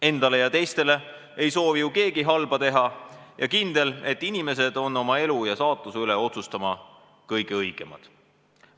Endale ja teistele ei soovi ju keegi halba teha ja kindel on, et inimesed on oma elu ja saatuse üle otsustama kõige õigemad.